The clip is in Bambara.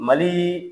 Mali